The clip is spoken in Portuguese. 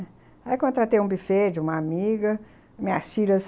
Aí contratei um bufê de uma amiga, minhas filhas.